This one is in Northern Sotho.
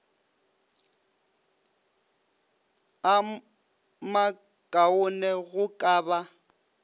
a makaone go ka ba